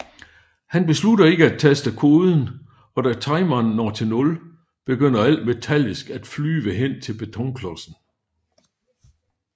Han beslutter ikke at taste koden og da timeren når til nul begynder alt metallisk at flyve hen til betonklodsen